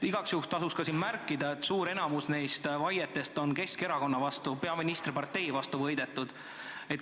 Igaks juhuks märgin ka, et suur enamik neist vaietest on olnud Keskerakonna omad ja kohtus on peaministri parteid võidetud.